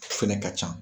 Fɛnɛ ka can